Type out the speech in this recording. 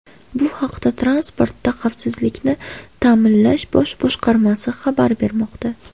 Bu haqda Transportda xavfsizlikni ta’minlash bosh boshqarmasi xabar bermoqda .